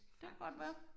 Det kan godt være